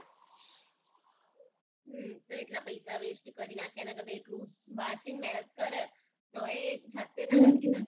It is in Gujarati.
હમ તો એટલા પૈસા west કરી નાખે એના કરતાં એટલું વાંચીને મેહનત કરે તોય જાતે ના લખી શકાય